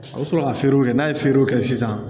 A bɛ sɔrɔ ka feerew kɛ n'a ye feerew kɛ sisan